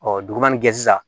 dugumana ge sisan